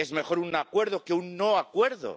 Es mejor un acuerdo que un no acuerdo.